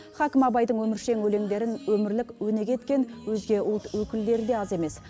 хакім абайдың өміршең өлеңдерін өмірлік өнеге еткен өзге ұлт өкілдері де аз емес